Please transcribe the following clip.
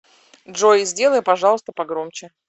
джой сделай пожалуйста погромче